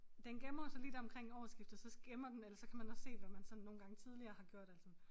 Den gemmer jo så lige deromkring årsskiftet så gemmer den eller så kan man også se hvad man sådan nogle gange tidligere har gjort eller sådan